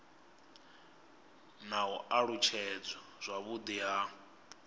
na u alutshedzwa zwavhudi ha